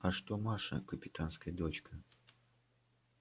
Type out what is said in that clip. а что маша капитанская дочка